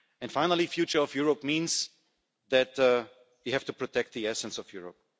And finally, the future of Europe means that we have to protect the essence of Europe.